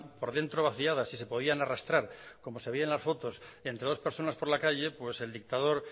por dentro vaciadas y se podían arrastrar como se veía en las fotos entre dos personas por la calle pues el dictador